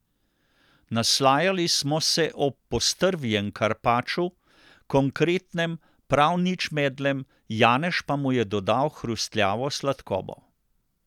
Naslajali smo se ob postrvjem karpaču, konkretnem, prav nič medlem, janež pa mu je dodal hrustljavo sladkobo.